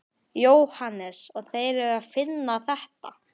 Jóhannes: Og þeir eru að finna þetta?